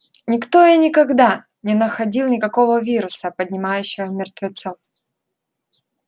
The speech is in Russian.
никто и никогда не находил никакого вируса поднимающего мертвецов